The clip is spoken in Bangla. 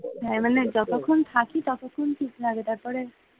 হ্যাঁ মানে যতক্ষণ থাকি ততক্ষণ ঠিকঠাক লাগে তারপরে,